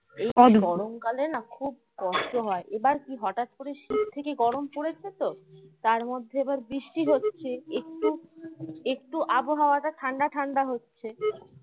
কষ্ট হয় এবার কি হঠাৎ করে শীত থেকে গরম পড়েছে তো তার মধ্যে এবার বৃষ্টি হচ্ছে একটু একটু আবহাওয়াটা ঠান্ডা ঠান্ডা হচ্ছে।